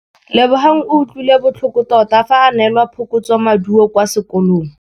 Lebogang o utlwile botlhoko tota fa a neelwa phokotsômaduô kwa sekolong.